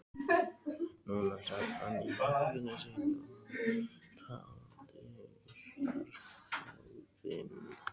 Núna sat hann í herberginu sínu og taldi fjársjóðinn.